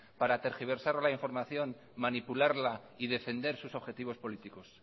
para tergiversar la información manipularla y defender sus objetivos políticos